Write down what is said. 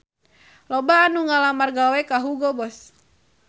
Loba anu ngalamar gawe ka Hugo Boss